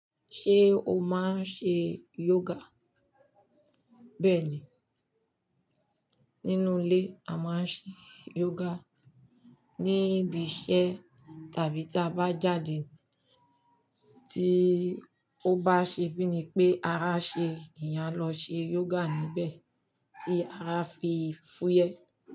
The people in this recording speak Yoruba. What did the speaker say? Ṣé o máa ń ṣe yoga? Bẹ́ẹ̀ni, nínú ilé a máa ń ṣe yoga, níbi iṣẹ́ tàbí tí a bá jáde tí ó bá ṣe bíni pé ara ṣe eeyàn a lọ ṣe yoga níbẹ̀ tí ara a fi fúyẹ́.